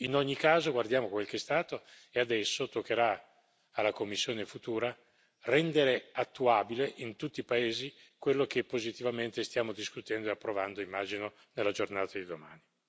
In ogni caso, guardiamo quel che è stato e adesso toccherà alla Commissione futura rendere attuabile in tutti i paesi quello che positivamente stiamo discutendo e approvando, immagino, nella giornata di domani.